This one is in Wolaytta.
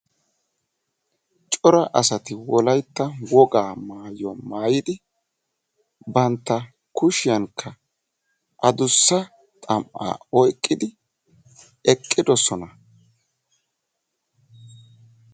Cora asati wolayitta wogaa maayuwaa maayidi bantta kushiyankka adussa xam"aa oyiqqidi eqqidosona.